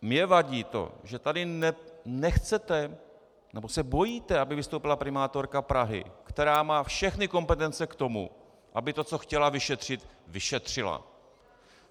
Mně vadí to, že tady nechcete, nebo se bojíte, aby vystoupila primátorka Prahy, která má všechny kompetence k tomu, aby to, co chtěla vyšetřit, vyšetřila.